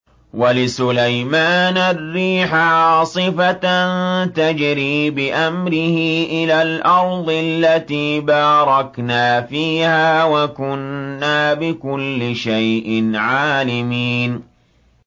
وَلِسُلَيْمَانَ الرِّيحَ عَاصِفَةً تَجْرِي بِأَمْرِهِ إِلَى الْأَرْضِ الَّتِي بَارَكْنَا فِيهَا ۚ وَكُنَّا بِكُلِّ شَيْءٍ عَالِمِينَ